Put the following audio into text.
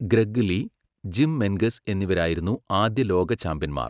Greg Lee, Jim Menges എന്നിവരായിരുന്നു ആദ്യ ലോക ചാമ്പ്യന്മാർ.